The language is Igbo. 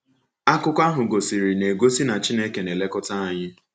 Akụkọ ahụ gosiri n’egosi na Chineke na -elekọta anyị.